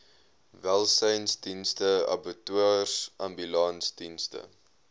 welsynsdienste abattoirs ambulansdienste